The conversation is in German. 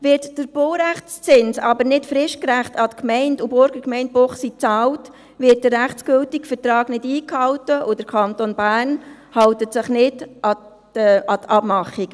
Wird der Baurechtszins aber nicht fristgerecht an die Gemeinde und an die Burgergemeinde Münchenbuchsee bezahlt, wird der rechtsgültige Vertrag nicht eingehalten, und der Kanton Bern hält sich nicht an die Abmachungen.